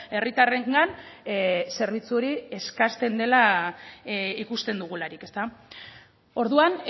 herritarrengan zerbitzu hori eskasten dela ikusten dugularik orduan